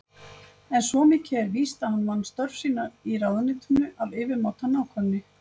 En svo mikið er víst að hann vann störf sín í ráðuneytinu af yfirmáta nákvæmni.